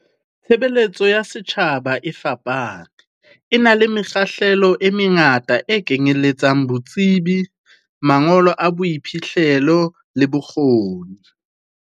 Tshebeletso ya setjhaba e fapane, e na le mekgahlelo e mengata e kenyeletsang bo tsebi, mangolo a boiphihlelo le bokgoni.